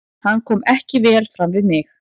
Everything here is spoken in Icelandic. Hann kom ekki vel fram við mig.